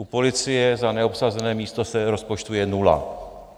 U policie za neobsazené místo se rozpočtuje nula.